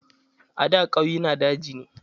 A da ƙauyena daji ne.